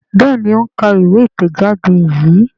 Béèni o ń ká ìwé itẹjade yí.